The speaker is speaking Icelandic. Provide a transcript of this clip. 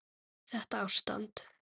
Þetta ástand?